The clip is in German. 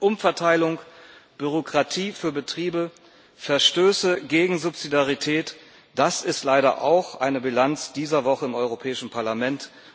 Umverteilung, Bürokratie für Betriebe, Verstöße gegen Subsidiarität das ist leider auch eine Bilanz dieser Woche im Europäischen Parlament.